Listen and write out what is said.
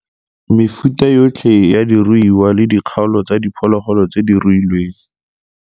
Mefuta yotlhe ya diruiwa le dikgaolo tsa diphologolo tse diruiwang.